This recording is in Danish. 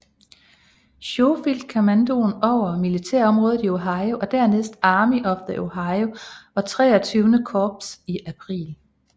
Schofield kommandoen over militærområdet Ohio og dernæst Army of the Ohio og XXIII Korps i april